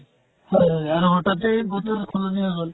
হয় হয় আৰু তাতে বতৰ সলনি হৈ গʼল।